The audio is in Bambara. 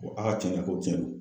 Ko a ka cɛn don, ko cɛn don